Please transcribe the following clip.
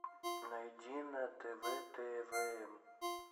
найди на тв твм